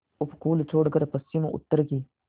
उपकूल छोड़कर पश्चिमउत्तर की